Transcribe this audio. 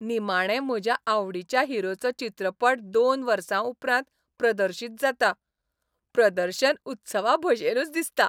निमाणें म्हज्या आवडीच्या हिरोचो चित्रपट दोन वर्सां उपरांत प्रदर्शीत जाता, प्रदर्शन उत्सवाभशेनच दिसता.